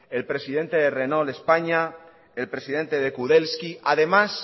el presidente de renault españa el presidente de kudelski además